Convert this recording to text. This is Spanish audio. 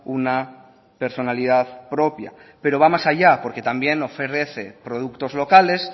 una personalidad propia pero va más allá porque también ofrece productos locales